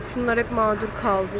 Şunlar hep mağdur qaldı.